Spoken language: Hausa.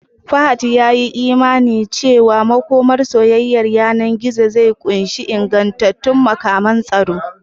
Fahad ya yi imanin cewa makomar soyayyar yanar gizo zai ƙunshi ingantattun matakan tsaro